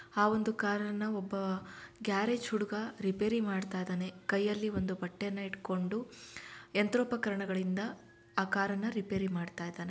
ಆ ಒಂದು ಕಾರನ್ನು ಒಬ್ಬ ಗ್ಯಾರೇಜ್ ಹುಡುಗ ರಿಪೇರಿ ಮಾಡ್ತಾ ಇದಾನೆ ಕೈ ಯಲ್ಲಿ ಒಂದ್ ಬಟ್ಟೆಯನ್ನ ಇಟ್ಕೊಂಡ್ ಯಂತ್ರೋಪಕರಣಗಳಿಂದ ಆ ಕಾರನ್ನ ರಿಪೇರಿ ಮಾಡ್ತಾ ಇದಾನೆ.